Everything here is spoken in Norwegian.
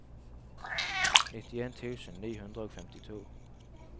nittien tusen ni hundre og femtito